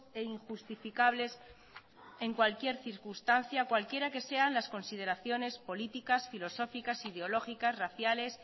e injustificables en cualquier circunstancia cualquiera que sean las consideraciones políticas filosóficas ideológicas raciales